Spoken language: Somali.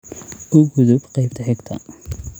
u gudub qaybta xigta